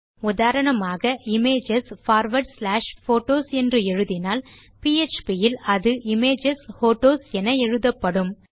உதாரணமாக images forward slash photos என்று எழுதினால் பிஎச்பி இல் இது images ஹோட்டோஸ் என எழுதப்படும்